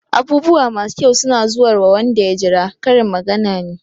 "Abubuwa masu kyau suna zuwarwa wanda ya jira" Karin magana ne.